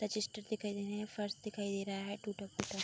register दिखाई दे रहे है फर्श दिखाई दे रहा है टूटे- फूटे --